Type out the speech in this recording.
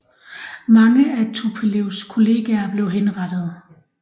Mange af Tupolevs kolleger blev henrettet